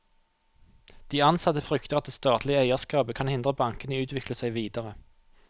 De ansatte frykter at det statlige eierskapet kan hindre bankene i å utvikle seg videre.